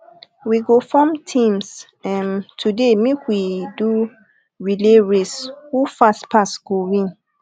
we go form teams um today make we do um relay race who fast pass go win